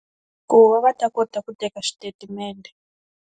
Ku va va ta kota ku teka xitatimende.